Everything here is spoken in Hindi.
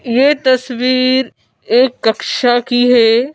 ये तस्वीर एक कक्षा की है।